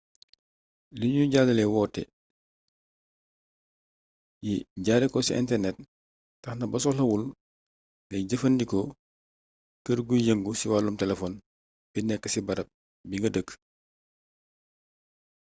liñuy jàllale woote yi jaare ko ci internet taxna ba soxlawul ngay jëfandikoo kër guy yëngu ci wàllum telefon bi nekk ci barab bi nga dëkk